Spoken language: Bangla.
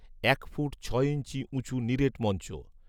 এক ফুট ছয় ইঞ্চি উঁচু নিরেট মঞ্চ